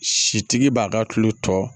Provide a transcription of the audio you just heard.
Sitigi b'a ka tulu tɔ